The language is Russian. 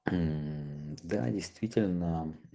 мм да действительно